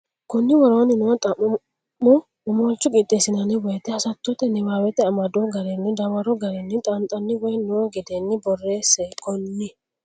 konni woroonni noo xa mo Omolcho qixxeessinanni woyte hasattote niwaawete amado garinni dawaro garinni xaanxanni woy noo gedeenni borreesse konni.